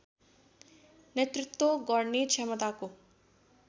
नेतृत्व गर्ने क्षमताको